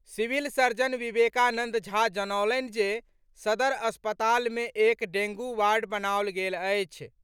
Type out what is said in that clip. Civil surgeon Vivekanand Jha जनौलनि जे सदर अस्पताल मे एक डेंगू वार्ड बनाओल गेल अछि।